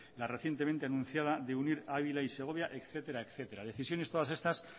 la recientemente anunciada de unir ávila y segovia etcétera decisiones todas estas